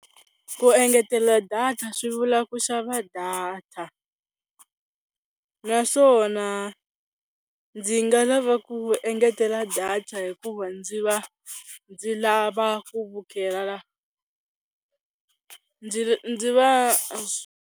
Ku engetela data swi vula ku xava data naswona ndzi nga lava ku engetela data hikuva ndzi va ndzi lava ku vukela ndzi .